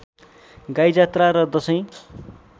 गाईजात्रा र दशैँ